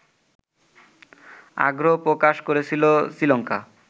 আগ্রহ প্রকাশ করেছিল শ্রীলঙ্কা